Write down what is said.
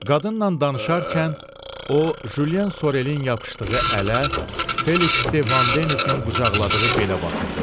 Qadınla danışarkən o Jyen Sorelin yapışdığı ələ, Feliks de Van Denisin qucaqladığı belə baxırdı.